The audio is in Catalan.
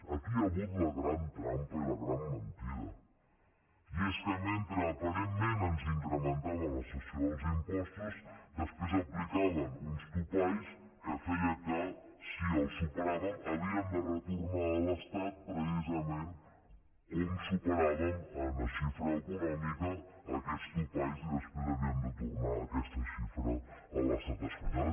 aquí hi ha hagut la gran trampa i la gran mentida i és que mentre aparentment ens incrementava la cessió dels impostos després aplicaven uns topalls que feien que si els superàvem havíem de retornar a l’estat precisament com superàvem en la xifra econòmica aquests topalls i després havíem de tornar aquesta xifra a l’estat espanyol